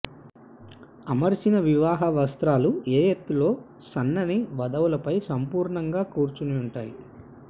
అమర్చిన వివాహ వస్త్రాలు ఏ ఎత్తులో సన్నని వధువులపై సంపూర్ణంగా కూర్చుని ఉంటాయి